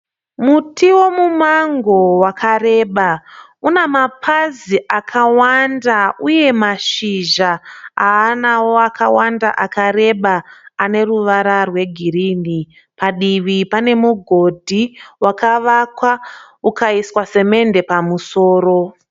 Muti wemumango wakareba. Une mapazi akawanda uye mashizha aanawo akawanda akareba ane ruvara rwegirinhi. Padivi pane mugodhi wakavakwa ukaiswa semende pamusoro.